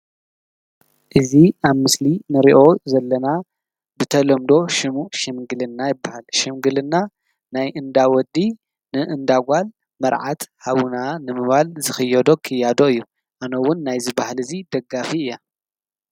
እዚ ምስሊ ሽምግልና ዘመላኽት እዩ እዚ ድማ ዳ ወዲ ዳ ኋል ኮይደም ኋልኩም ሀብና ይብሉ ኣለው። ቅቡል ባህሊ ድማ እዩ።